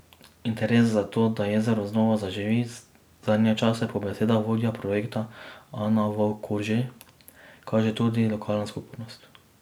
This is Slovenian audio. Interes za to, da jezero znova zaživi, zadnje čase po besedah vodje projekta Ana Vovk Korže kaže tudi lokalna skupnost.